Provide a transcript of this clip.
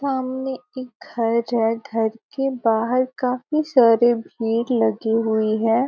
सामने एक घर है। घर के बाहर काफी सारी भीड़ लगी हुई है।